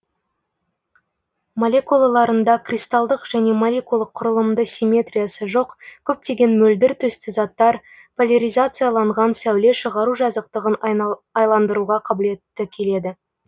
молекулаларында кристалдық және молекулалық кұрылымды симметриясы жоқ көптеген мөлдір түсті заттар поляризацияланған сәуле шығару жазықтығын айландыруға қабілетті келеді